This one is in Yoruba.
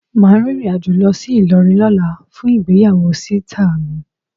Ma rìnrìn àjò lọ sí Ilorin lóla fún ìgbéyàwó sita mi